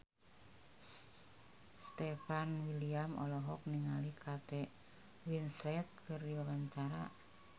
Stefan William olohok ningali Kate Winslet keur diwawancara